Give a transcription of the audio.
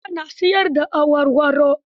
Hajara na siyar da awarwaro.